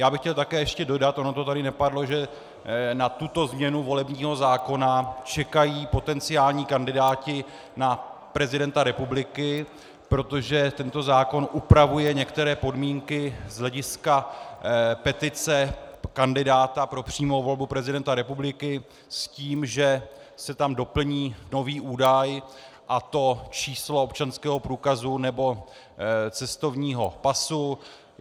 Já bych chtěl také ještě dodat, ono to tady nepadlo, že na tuto změnu volebního zákona čekají potenciální kandidáti na prezidenta republiky, protože tento zákon upravuje některé podmínky z hlediska petice kandidáta pro přímou volbu prezidenta republiky s tím, že se tam doplní nový údaj, a to číslo občanského průkazu nebo cestovního pasu.